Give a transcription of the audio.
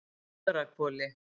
Fagrahvoli